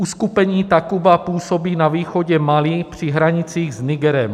Uskupení Takuba působí na východě Mali při hranicích s Nigerem.